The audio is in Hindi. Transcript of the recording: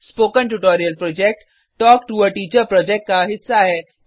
spoken tutorial project talk to a teacher project का हिस्सा है